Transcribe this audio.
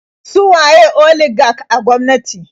Su waye oligak a gwamnati?